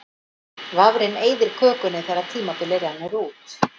Vafrinn eyðir kökunni þegar tímabilið rennur út.